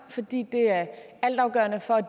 fordi det er altafgørende for at